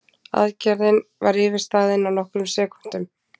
Aðgerðin var yfirstaðin á nokkrum sekúndum